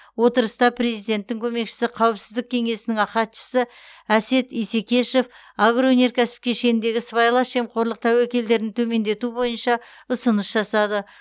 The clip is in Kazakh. отырыста президенттің көмекшісі қауіпсіздік кеңесінің хатшысы әсет исекешев агроөнеркәсіп кешеніндегі сыбайлас жемқорлық тәуекелдерін төмендету бойынша ұсыныс жасады